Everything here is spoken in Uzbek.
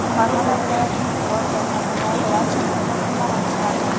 Farg‘ona viloyatining Quvasoy hamda Marg‘ilon shahri hokimlari o‘zgardi.